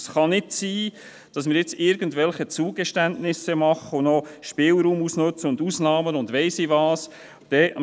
Es kann nicht sein, dass wir jetzt irgendwelche Zugeständnisse machen, noch Spielraum ausnützen und Ausnahmen beschliessen, und ich weiss nicht, was noch alles.